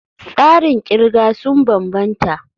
Tsarin kirga sun bambanta.